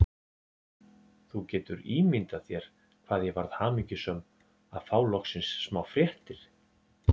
Þú getur ímyndað þér hvað ég varð hamingjusöm að fá loksins smá fréttir.